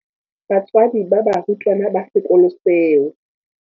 Batswadi ba barutwana ba sekolo seo.